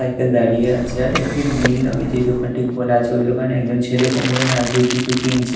Cycle দাঁড়িয়ে আছে আর একটি নীল রঙের যে দোকানটি খোলা আছে ওই দোকানে একজন ছেলে কোমরে হাত দিয়ে কিছু কিনছে।